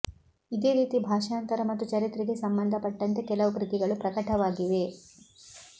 ಇದೇ ರೀತಿ ಭಾಷಾಂತರ ಮತ್ತು ಚರಿತ್ರೆಗೆ ಸಂಬಂಧ ಪಟ್ಟಂತೆ ಕೆಲವು ಕೃತಿಗಳು ಪ್ರಕಟವಾಗಿವೆ